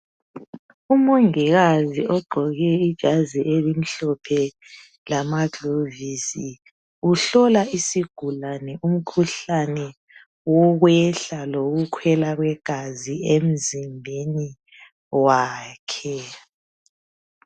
Umongikazi ogqoke ijazi elimhlophe lama gilovisi. Uhlola isigulane umkhuhlane wokwehla lowokukhwela kwegazi emzimbeni wakhe.